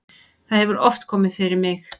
það hefur oft komið fyrir mig.